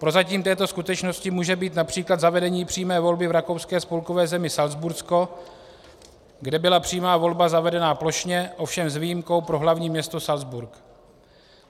Prozatím této skutečnosti může být například zavedení přímé volby v rakouské spolkové zemi Salcbursko, kde byla přímá volba zavedena plošně, ovšem s výjimkou pro hlavní město Salcburk.